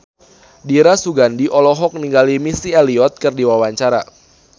Dira Sugandi olohok ningali Missy Elliott keur diwawancara